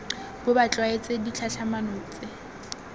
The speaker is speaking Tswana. bo ba tlwaetse ditlhatlhamano tse